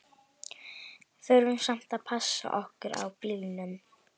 Þurftum samt að passa okkur á bílunum.